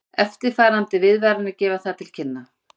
Eftirfarandi viðvaranir gefa það til kynna